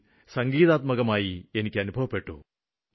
ഒരുതരത്തില് ഒരു സംഗീതം പൊഴിയുന്ന പോലെ ആയിരുന്നു അത്